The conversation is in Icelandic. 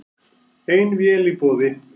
Ein vél í boði